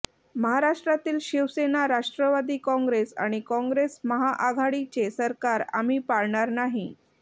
महाराष्ट्रातील शिवसेना राष्ट्रवादी काँग्रेस आणि काँग्रेस महाआघाडीचे सरकार आम्ही पाडणार नाही